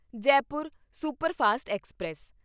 Jaipur superfast express